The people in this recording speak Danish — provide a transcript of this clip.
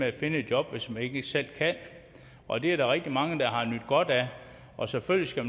at finde et job hvis man ikke selv kan og det er der rigtig mange der har nydt godt af og selvfølgelig skal